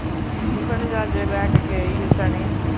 tiffin ਚ ਅੱਜ ਲੈਕੇ ਗਏ ਹੈ ਚਨੇ